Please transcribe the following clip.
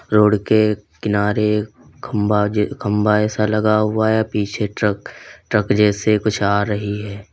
Road के किनारे खंबा खंबा ऐसा लगा हुआ है पीछे ट्रक ट्रक जैसे कुछ आ रही है।